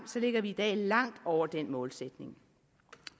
ligger vi i dag langt over den målsætning